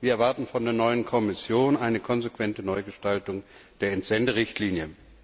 Wir erwarten von der neuen Kommission eine konsequente Neugestaltung der Entsenderichtlinie.